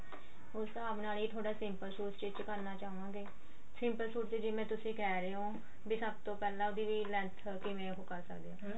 ਉਸ ਹਿਸਾਬ ਨਾਲ ਤੁਹਾਡਾ simple ਸੂਟ stich ਕਰਨਾ ਚਾਹਵਾਂਗੇ simple ਸੂਟ ਚ ਜਿਵੇਂ ਤੁਸੀਂ ਕਿਹ ਰਹੇ ਹੋ ਵੀ ਸਭ ਤੋਂ ਪਹਿਲਾਂ ਉਹਦੀ ਵੀ length ਕਿਵੇਂ ਉਹ ਕਰ ਸਕਦੇ ਹਾਂ ਹਨਾ